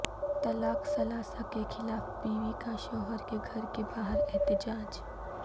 طلاق ثلاثہ کیخلاف بیوی کا شوہر کے گھر کے باہر احتجاج